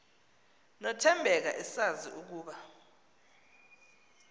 nothembeka esazi ukuba